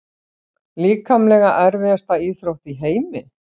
Líkamlega erfiðasta íþrótt í heimi?